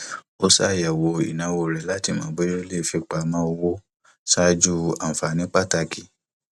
ó ṣàyẹwò ìnáwó rẹ láti mọ bóyá ó lè fipamọ owó ṣáájú ànfààní pàtàkì